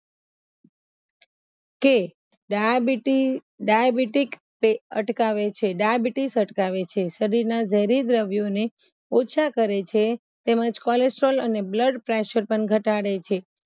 કે ડાયાબિટી ડાયાબિટીક તે અટકાવે છે ડાયાબિટીસ અટકાવે છે શરીરના ઝેરી દ્રવ્યોને ઓછા કરે છે તેમજ કોલેસ્ટ્રોલ અને blood pressure પણ ઘટાડે છે